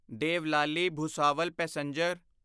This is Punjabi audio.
ਦੇਵਲਾਲੀ ਭੁਸਾਵਲ ਪੈਸੇਂਜਰ